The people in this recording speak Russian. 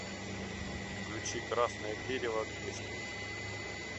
включи красное дерево грешник